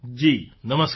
જી નમસ્કાર